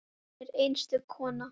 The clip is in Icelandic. Hún var einstök kona.